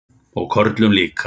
Og körlum líka.